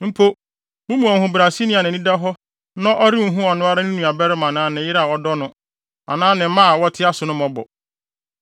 Mpo, mo mu ɔhobrɛaseni a nʼani da hɔ no renhu ɔno ara ne nuabarima anaa ne yere a ɔdɔ no, anaa ne mma a wɔte ase no mmɔbɔ,